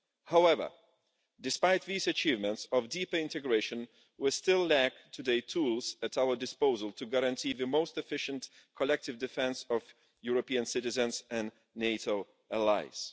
However, despite these achievements of deeper integration, we still lack today tools at our disposal to guarantee the most efficient, collective defence of European citizens and NATO allies.